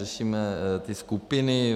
Řešíme ty skupiny.